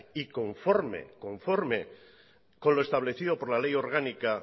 y conforme con lo establecido por le ley orgánica